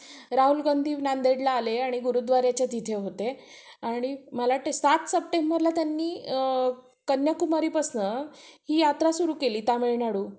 म्हणून कॉलेज हा प्रत्येकाच्या प्रत्येक व्यक्तीच्या आयुष्यातील सुवर्ण क्षण असतो असे म्हणतात हम्म आणि दहावी झ्हाल्यानंतर प्रत्येक विद्यार्थ्यांच्या मानमद्ये